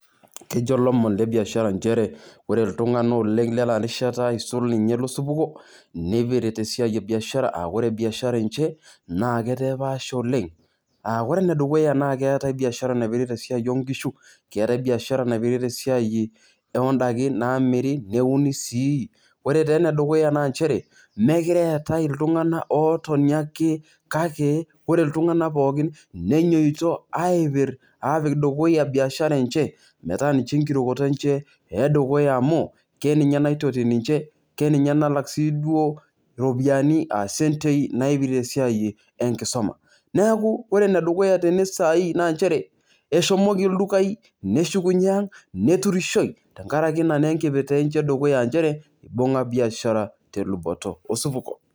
Kejo lomon tebiashara nchere ore ltunganak oleng lenarishata isul nye losupuko nipitirt esiai ebiashara aa ore biashara enche netaa epaasha oleng aa ore enedukuya nakeata biashara naipirta esiai onkishu, ketai biashara naipirta esia oondakin namiri neuni sii, ore taa enedukuya na mchere mekure eetae ltunganak otoni ake kake ore ltunganak pookin neinyoto aipir apik dukuya biashara enche, etaa enkirukoto enche edukuya amu keninche naitoti nche, keninye nalak si duo ropiyiani naipirta esiai enkisuma, neaku ore enedukuya tenesai naa nchere eshomoki ldukai neshukunyei ,neturishoi tenkaraki ina enkipirta enye edukuya nchere ibunga biashara teluboto osupuko.